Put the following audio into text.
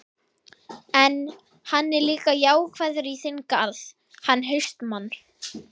En, hann er líka jákvæður í þinn garð, hann HAustmann.